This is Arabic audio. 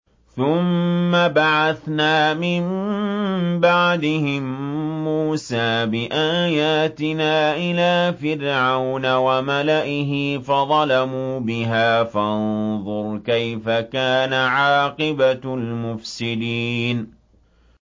ثُمَّ بَعَثْنَا مِن بَعْدِهِم مُّوسَىٰ بِآيَاتِنَا إِلَىٰ فِرْعَوْنَ وَمَلَئِهِ فَظَلَمُوا بِهَا ۖ فَانظُرْ كَيْفَ كَانَ عَاقِبَةُ الْمُفْسِدِينَ